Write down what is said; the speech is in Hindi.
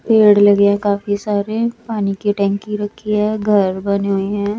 पेड़ लगे हैं काफी सारे पानी की टंकी रखी है घर बनें हुई है।